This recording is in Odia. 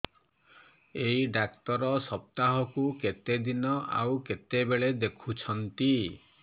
ଏଇ ଡ଼ାକ୍ତର ସପ୍ତାହକୁ କେତେଦିନ ଆଉ କେତେବେଳେ ଦେଖୁଛନ୍ତି